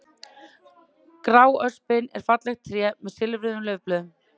Gráöspin er fallegt tré með silfruðum laufblöðum.